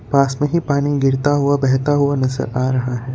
पास में ही पानी गिरता हुआ बहता हुआ नजर आ रहा है।